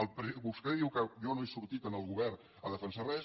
vostè diu que jo no he sortit al govern a defensar res